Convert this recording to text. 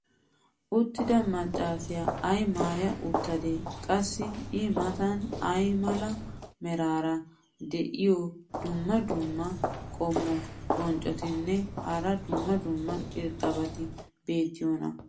uttida macaassiya ay maaya uttadee? qassi i matan ay mala meray diyo dumma dumma qommo bonccotinne hara dumma dumma irxxabati beetiyoonaa?